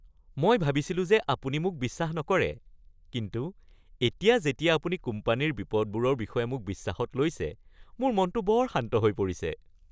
মই ভাবিছিলো যে আপুনি মোক বিশ্বাস নকৰে কিন্তু এতিয়া যেতিয়া আপুনি কোম্পানীৰ বিপদবোৰৰ বিষয়ে মোক বিশ্বাসত কৈছে, মোৰ মনটো বৰ শান্ত হৈ পৰিছে।